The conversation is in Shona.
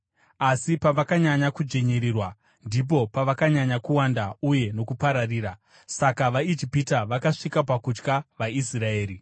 Asi pavakanyanya kudzvinyirirwa ndipo pavakanyanya kuwanda uye nokupararira; saka vaIjipita vakasvika pakutya vaIsraeri